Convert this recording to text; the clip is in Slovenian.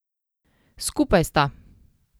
Skupaj sta.